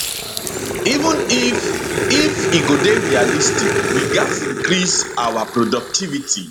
even if if e go dey realistic we gatz increase our productivity